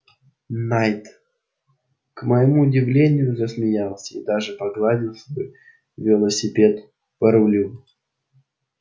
найд к моему удивлению засмеялся и даже погладил свой велосипед по рулю